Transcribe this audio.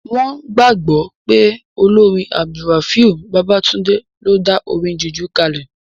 Wọ́n gbàgbọ́ pé olórin AbdulRafiu Babatunde ló dá orin jùjú kalẹ̀